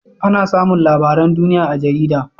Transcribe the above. Ana samun labaran duniya a jarida